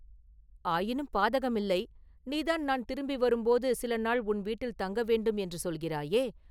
“ஆயினும் பாதகமில்லை நீதான் நான் திரும்பி வரும்போது சில நாள் உன் வீட்டில் தங்கவேண்டும் என்று சொல்கிறாயே?